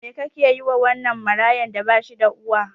Me kake yiwa wannan marayan da bashida uwa.